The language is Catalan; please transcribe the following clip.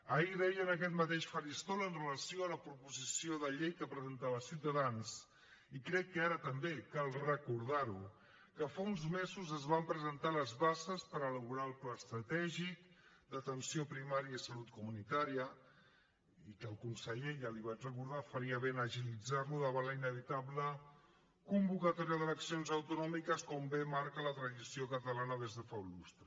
ahir deia en aquest mateix faristol amb relació a la proposició de llei que presentava ciutadans i crec que ara també cal recordar ho que fa uns mesos es van presentar les bases per elaborar el pla estratègic d’atenció primària i salut comunitària i que el conseller ja l’hi vaig recordar faria bé en agilitzar lo davant la inevitable convocatòria d’eleccions autonòmiques com bé marca la tradició catalana des de fa un lustre